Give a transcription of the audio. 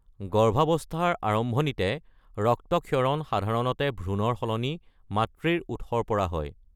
গৰ্ভাৱস্থাৰ আৰম্ভণিতে ৰক্তক্ষৰণ সাধাৰণতে ভ্ৰূণৰ সলনি, মাতৃৰ উৎসৰ পৰা হয়।